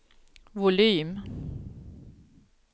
volym